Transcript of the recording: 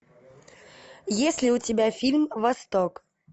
есть ли у тебя фильм восток